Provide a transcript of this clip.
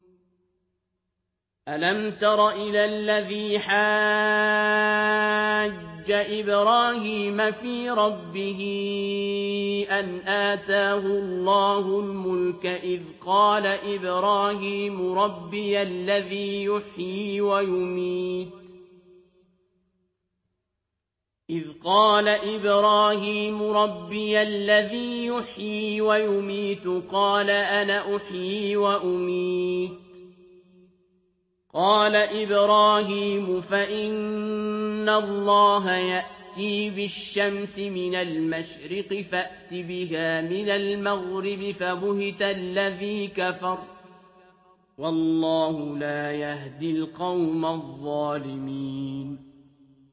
أَلَمْ تَرَ إِلَى الَّذِي حَاجَّ إِبْرَاهِيمَ فِي رَبِّهِ أَنْ آتَاهُ اللَّهُ الْمُلْكَ إِذْ قَالَ إِبْرَاهِيمُ رَبِّيَ الَّذِي يُحْيِي وَيُمِيتُ قَالَ أَنَا أُحْيِي وَأُمِيتُ ۖ قَالَ إِبْرَاهِيمُ فَإِنَّ اللَّهَ يَأْتِي بِالشَّمْسِ مِنَ الْمَشْرِقِ فَأْتِ بِهَا مِنَ الْمَغْرِبِ فَبُهِتَ الَّذِي كَفَرَ ۗ وَاللَّهُ لَا يَهْدِي الْقَوْمَ الظَّالِمِينَ